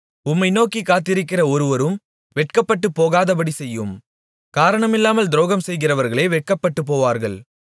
உம்மை நோக்கிக் காத்திருக்கிற ஒருவரும் வெட்கப்பட்டுப் போகாதபடி செய்யும் காரணமில்லாமல் துரோகம்செய்கிறவர்களே வெட்கப்பட்டுப் போவார்களாக